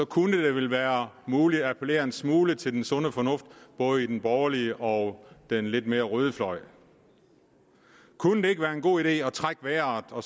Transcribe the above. kunne være muligt at appellere en smule til den sunde fornuft i både den borgerlige og den lidt mere røde fløj kunne det ikke være en god idé at trække vejret og